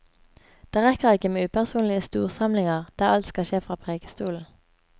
Det rekker ikke med upersonlige storsamlinger der alt skal skje fra prekestolen.